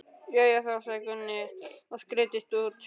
Jæja þá, sagði Gunni og skreiddist út.